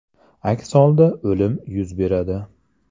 Aks holda o‘lim yuz beradi”.